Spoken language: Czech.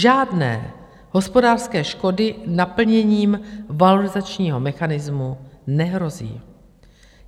Žádné hospodářské škody naplněním valorizačního mechanismu nehrozí.